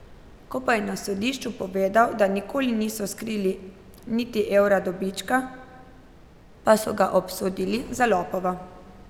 Ko pa je na sodišču povedal da nikoli niso skrili niti evra dobička, pa so ga obsodili za lopova.